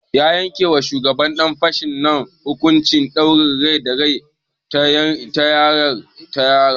An yanke ma shugaban ɗan fashin nan hukuncin ɗaurin rai da rai ta hanyar rataya.